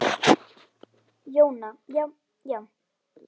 Jóna Já, já.